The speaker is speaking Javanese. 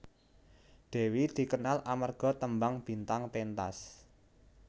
Dewi dikenal amarga tembang Bintang Pentas